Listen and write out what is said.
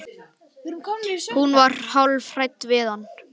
Hún var hálf hrædd við hann.